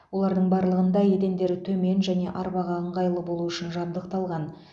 олардың барлығында едендері төмен және арбаға ыңғайлы болу үшін жабдықталған